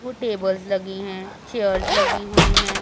वो टेबल्स लगी हैं चेयर्स लगी हुईं हैं।